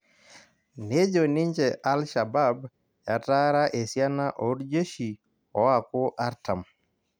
Nejo ninje Alshabab etaara esiana orjeshi oaku artam